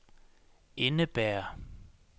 indebærer